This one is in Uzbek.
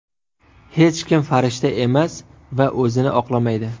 Hech kim farishta emas va o‘zini oqlamaydi.